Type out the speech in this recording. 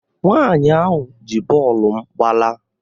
Nwa ahụ ji bọọlụ m gbalaa